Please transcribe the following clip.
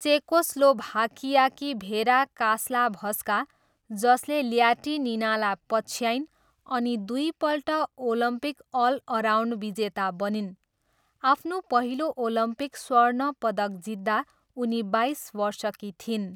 चेकोस्लोभाकियाकी Vera Caslavska, जसले ल्याटिनिनालाई पछ्याइन् अनि दुईपल्ट ओलम्पिक अलअराउन्ड विजेता बनिन्, आफ्नो पहिलो ओलम्पिक स्वर्ण पदक जित्दा उनी बाइस वर्षकी थिइन्।